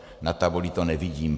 Na tabuli to nevidím.